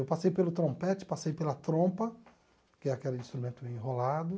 Eu passei pelo trompete, passei pela trompa, que é aquele instrumento enrolado.